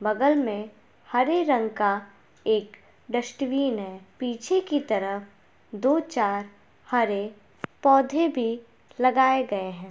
बगल में हरे रंग का एक डस्टबिन हैं पीछे की तरफ दो चार हरे पौधे भी लगाए गए हैं।